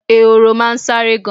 Ehoro máa n sáré gan